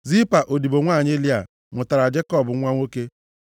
Zilpa, odibo nwanyị Lịa, mụtara Jekọb nwa nwoke.